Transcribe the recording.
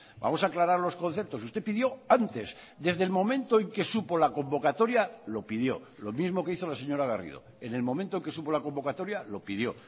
vamos a aclarar los conceptos usted pidió antes desde el momento en que supo la convocatoria lo pidió lo mismo que hizo la señora garrido en el momento que supo la convocatoria lo pidió